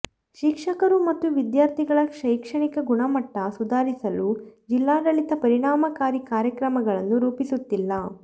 ಶಿಕ್ಷಕರು ಮತ್ತು ವಿದ್ಯಾರ್ಥಿಗಳ ಶೈಕ್ಷಣಿಕ ಗುಣಮಟ್ಟ ಸುಧಾರಿಸಲು ಜಿಲ್ಲಾಡಳಿತ ಪರಿಣಾಮಕಾರಿ ಕಾರ್ಯಕ್ರಮಗಳನ್ನು ರೂಪಿಸುತ್ತಿಲ್ಲ